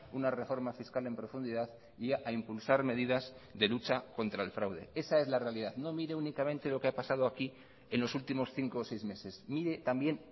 una reforma fiscal en profundidad y a impulsar medidas de lucha contra el fraude esa es la realidad no mire únicamente lo que ha pasado aquí en los últimos cinco o seis meses mire también